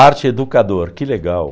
Arte-educador, que legal.